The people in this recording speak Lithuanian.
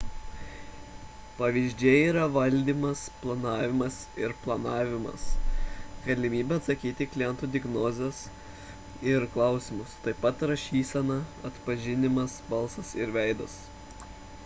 pavyzdžiai yra valdymas planavimas ir planavimas galimybė atsakyti į klientų diagnozes ir klausimus taip pat rašysenos atpažinimas balsas ir veidas